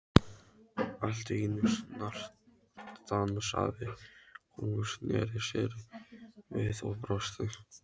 Allt í einu snarstansaði hún, snéri sér við og brosti.